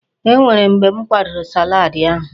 E nwere mgbe m kwadoro salaadi ahụ.